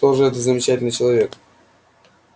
кто же этот замечательный человек